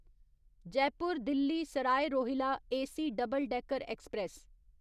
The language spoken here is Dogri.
Jaipur Delhi Sarai Rohilla AC double decker express